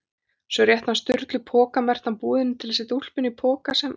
Svo rétti hann Sturlu poka merktan búðinni til að setja úlpuna í- poka sem